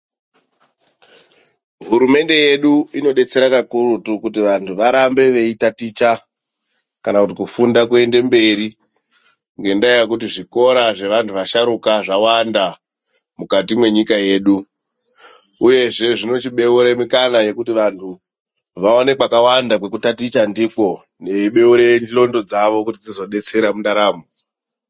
Hurumende yedu inodetsera kakurutu kuti vanthu varambe veitaticha kana kufunda kuende mberi ngekndaya yekuti zvikora zve vasharuka vawanda mukati nenyika yedu uyezve zvinochi beura mukana ye kuti vanhu vawane kweku taticha ndiko zvinochibeure ndxondo dzavo kuti zvigodetsera mundaramo.